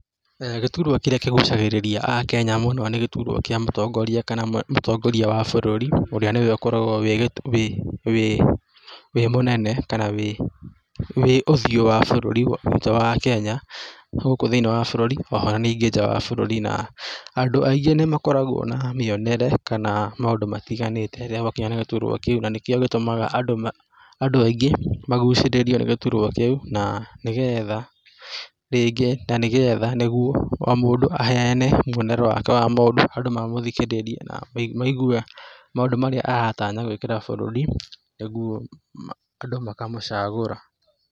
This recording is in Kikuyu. Gĩturwa kĩrĩa kĩgucagĩrĩria akenya mũno nĩ gĩturwa kĩa mũtongoria kana mũ mũtongoria wa bũrũri ũrĩa nĩwe ũkoragwo wĩ wĩ wĩ mũnene kana wĩ wĩ ũthiũ wa bũrũri witũ wa Kenya gũkũ thĩinĩ wa bũrũri oho ona ningĩ nja wa bũrũri na andũ aingĩ nĩ makoragwo na mĩonere kana maũndũ matiganĩte rĩrĩa gwakinya nĩ gĩturwa kĩu na nĩkĩo gĩtũmaga andũ aingĩ magucĩrĩrio nĩ gĩturwa kĩu na nĩgetha rĩngĩ, na nĩgetha nĩguo o mũndũ aheane muonere wake wa maũndũ andũ mamũthikĩrĩrie na maigue maũndũ marĩa aratanya gũĩkĩra bũrũri niguo andũ makamũcagũra.